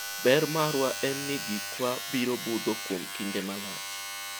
ber marwa en ni gik wa biro budho kuom kinde malach